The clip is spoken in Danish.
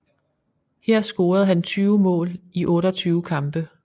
Her scorede han 20 mål i 28 kampe